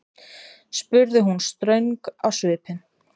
spurði hún ströng á svipinn.